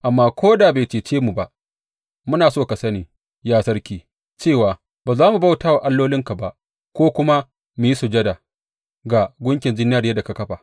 Amma ko da bai cece mu ba, muna so ka sani, ya sarki; cewa ba za mu bauta wa allolinka ba ko kuma mu yi sujada ga gunkin zinariyar da ka kafa ba.